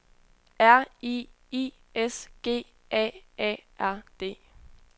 R I I S G A A R D